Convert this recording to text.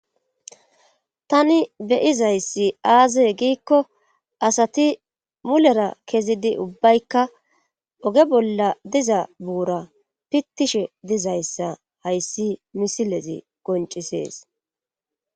tani beyizayssi aaze giikko asati mulera kezidi ubbaykka oge bolla diza buura pittishe dizayssa hayssi misilezi goncisees